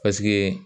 Paseke